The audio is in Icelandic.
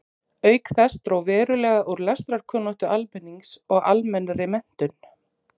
Auk þess dró verulega úr lestrarkunnáttu almennings og almennri menntun.